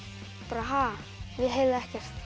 ha ég heyrði ekkert